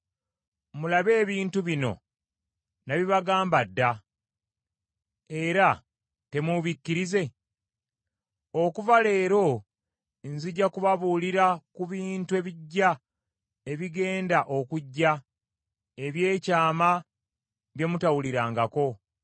Mulabe ebintu bino nabibagamba dda, era temubikkirize? “Okuva leero nzija kubabuulira ku bintu ebiggya ebigenda okujja, eby’ekyama bye mutawulirangako.